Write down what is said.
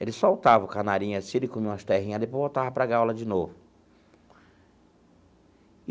Ele soltava o canarinho assim, ele comia umas terrinhas, depois voltava para a gaiola de novo.